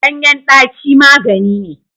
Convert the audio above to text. Ganyen daci magani ne.